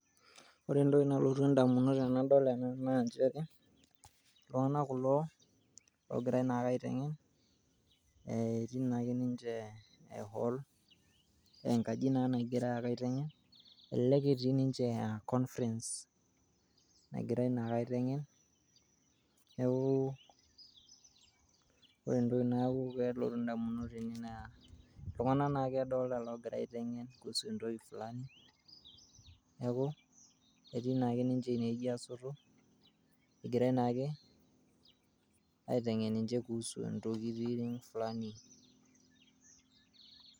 ore entoki nalotu indamunot tenadol ena naa nchere iltung'anak kulo ogirae naa ake aitengen, etii naake ninche ee hall enkaji naa nagirae aitengen, elelek pee etii nichee confrence, egirae naa ake aiteng'en ore entoki nalotu indamunot naa ilung'anak oogirae aeteng'en kuhusu entoki fulani neaku etii naake ninche inewuji aasoto. egirae naake aitengen ninche kuhusu intokiting fulani